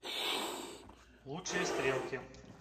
лучшие стрелки